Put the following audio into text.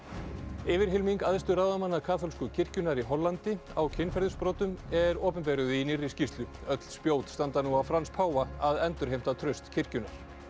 yfirhylming æðstu ráðamanna kaþólsku kirkjunnar í Hollandi á kynferðisbrotum er opinberuð í nýrri skýrslu öll spjót standa nú á Frans páfa að endurheimta traust kirkjunnar